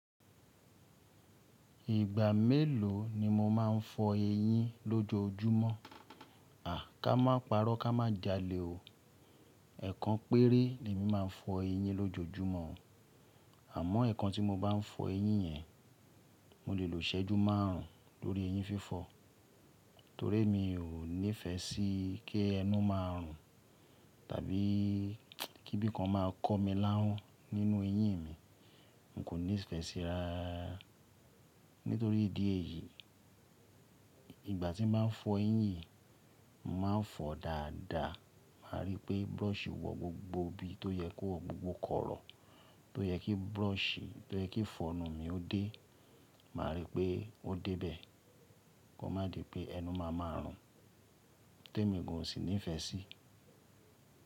Ìgbà mélòó ni mo máa ń fọ eyín lójojúmọ́? Ká má parọ́ ká má jalè o. Ẹ̀ẹ̀kan péré ni mí máa ń fọ eyín lójojúmọ́. Àmọ́ ẹ̀ẹ̀kan tí mo bá ń fọ eyín yẹn, mo lè lo ṣẹ́jú márùn ún lórí eyín fífọ, torí mi ò nífẹ sí kí ẹnu máa rùn tàbí kí bí kan máa kọ́ mi láhùn nínú eyín mi. N kò nífẹ síra. Nítorí ìdí èyí, ìgbà tí mo bá ń fọ eyín, màá fọ dáadáa. Màá rí pé brush wọ gbogbo ibi tó yẹ kó gbogbo korò, tó yẹ kí brush tó yẹ kí ifọnu mi ó dé, màá rí pé ó dé bẹ̀. Kó má di pé ẹnu máa ma rùn tí èmi kò sì nífẹ sí.